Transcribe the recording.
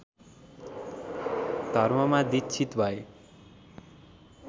धर्ममा दीक्षित भए